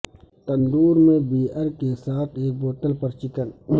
تندور میں بیئر کے ساتھ ایک بوتل پر چکن